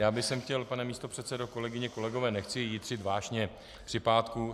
Já bych chtěl, pane místopředsedo, kolegyně, kolegové, nechci jitřit vášně při pátku.